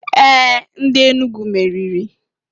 Ee! Ndị Enugu meriri.